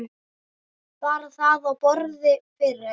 Bar það á borð fyrir